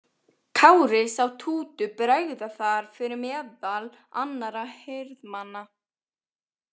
Kári sá Tútu bregða þar fyrir meðal annarra hirðmanna.